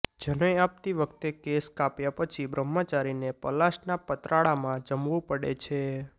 જનોઈ આપતી વખતે કેશ કાપ્યા પછી બ્રહ્મચારીને પલાશના પતરાળામાં જમવું પડે છે